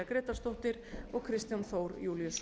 grétarsdóttir og kristján þór júlíusson